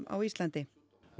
á Íslandi